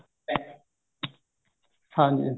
ਹਾਂਜੀ ਹਾਂਜੀ